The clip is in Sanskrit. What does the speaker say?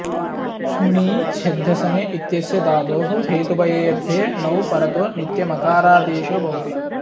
ष्मिङीषद्धसने इत्यस्य धातोः हेतुभये ऽर्थे णौ परतो नित्यमकारादेशो भवति